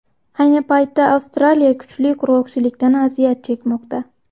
Ayni paytda Avstraliya kuchli qurg‘oqchilikdan aziyat chekmoqda.